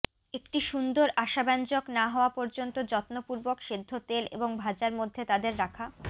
একটি সুন্দর আশাব্যঞ্জক না হওয়া পর্যন্ত যত্নপূর্বক সেদ্ধ তেল এবং ভাজা মধ্যে তাদের রাখা